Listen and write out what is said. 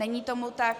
Není tomu tak.